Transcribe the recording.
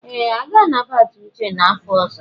Ee! A ga-anabata Uche n'afọ ọzọ.